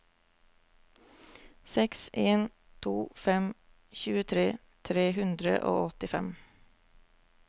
seks en to fem tjuetre tre hundre og åttifem